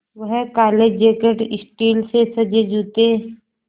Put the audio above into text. वह काले jacket steel से सजे जूते